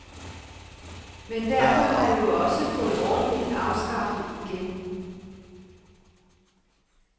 Men derfor har jeg jo også fået ordningen afskaffet igen.